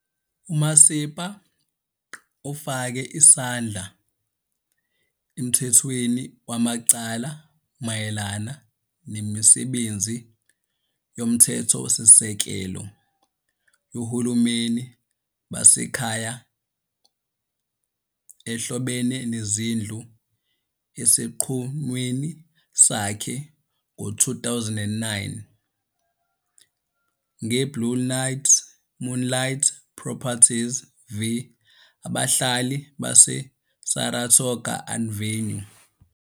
UMasipa ufake isandla emthethweni wamacala mayelana nemisebenzi yomthethosisekelo yohulumeni basekhaya ehlobene nezindlu esinqumweni sakhe sango-2009" ngeBlue Moonlight Properties v Abahlali baseSaratoga Avenue"